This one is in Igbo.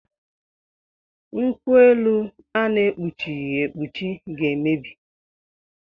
Nkwuelu a na-ekpuchighi ekpuchi ga-emebi